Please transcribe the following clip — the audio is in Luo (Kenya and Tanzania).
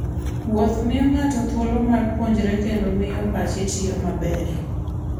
Wuoth miyo ng'ato thuolo mar puonjruok kendo miyo pache tiyo maber.